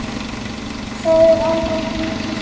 Það er annar hlutur.